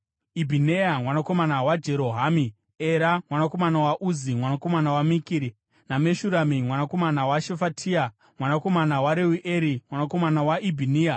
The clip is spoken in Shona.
Ibhineya mwanakomana waJerohamu; Era mwanakomana waUzi, mwanakomana waMikiri; naMeshurami mwanakomana waShefatia, mwanakomana waReueri, mwanakomana waIbhiniya.